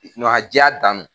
diya dan don!